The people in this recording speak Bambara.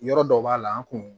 Yɔrɔ dɔ b'a la an kun